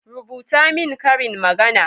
rubuta min ƙarin magana!